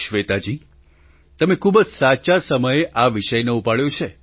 શ્વેતાજી તમે ખૂબ જ સાચા સમયે આ વિષયને ઉપાડ્યો છે